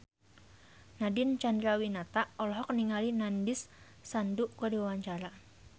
Nadine Chandrawinata olohok ningali Nandish Sandhu keur diwawancara